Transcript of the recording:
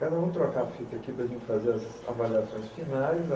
Ricardo, vamos trocar a fita aqui para a gente fazer as avaliações finais.